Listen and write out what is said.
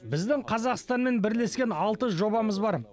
біздің қазақстанмен бірлескен алты жобамыз бар